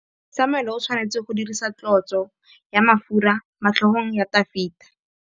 Samuele o tshwanetse go dirisa tlotsô ya mafura motlhôgong ya Dafita.